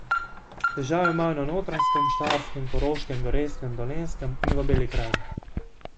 Težave imajo na Notranjskem, Štajerskem, Koroškem, Gorenjskem, Dolenjskem in v Beli krajini.